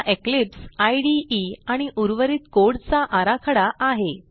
हा Eclipse IDE आणि उर्वरित कोड चा आराखडा आहे